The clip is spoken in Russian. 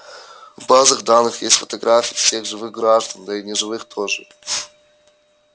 в базах данных есть фотографии всех живых граждан да и неживых тоже